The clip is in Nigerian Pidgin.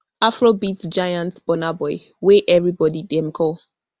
afrobeats giant burna boy wey evri body dem call